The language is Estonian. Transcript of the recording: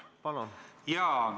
Palun!